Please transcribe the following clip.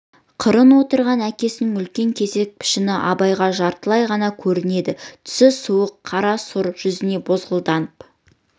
қырын отырған әкесінің үлкен кесек пішіні абайға жартылай ғана көрінеді түсі суық қара сұр жүзіне бозғылданып